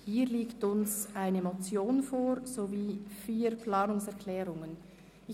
Hier liegen uns eine Motion sowie vier Planungserklärungen vor.